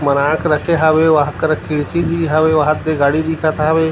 बना के रखे हवे वहाँ करा खिड़की भी हवेवहा दे गाड़ी दिखत हवे।